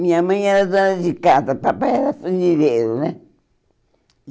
Minha mãe era dona de casa, papai era fundeireiro, né?